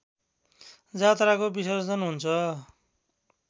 जात्राको विसर्जन हुन्छ